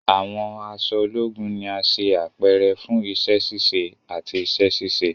Awọn aṣọ ologun ni a ṣe apẹrẹ fun iṣẹ-ṣiṣe ati iṣẹ-ṣiṣe